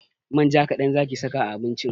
Manja kaɗan zaki saka a abincin!